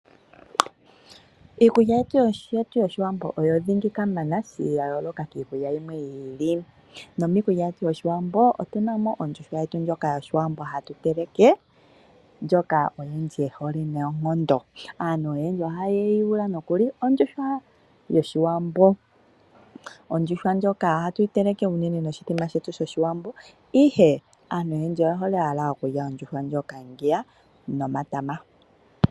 Iikulya yetu yoshiwambo oyo dhingikamana yayooloka kiikulya yimwe yiili, nomiikulya yetu yoshiwambo otuna mo ondjuhwa yetu ndjoka yoshiwambo hatu teleke ndjoka oyandji yehole nayi noonkondo, aantu oyendji ohaye yuula nokuli ondjuhwa yoshiwambo. Ondjuhwa ndjoka ohatu yiteleke unene noshithima shetu shoshiwambo ihe aantu oyendji oyehole owala okulya ondjuhwa ndjoka ngeya nomatama.